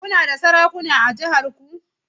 Kuna da sarakuna a jihar ku?